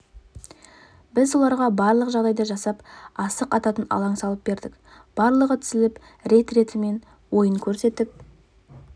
біз оларға барлық жағдайды жасап асық ататын алаң салып бердік барлығы тізіліп рет-ретімен ойын көрсетіп